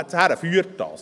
Wohin führt das?